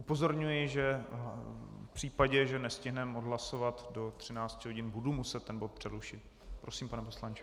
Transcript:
Upozorňuji, že v případě, že nestihneme odhlasovat do 13 hodin, budu muset ten bod přerušit. Prosím, pane poslanče.